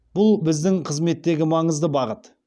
бұл біздің қызметтегі маңызды бағыт